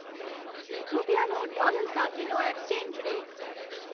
રૂપિયાનો ડોલર સાથેનો exchange rate